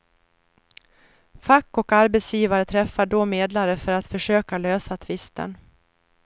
Fack och arbetsgivare träffar då medlare för att försöka lösa tvisten.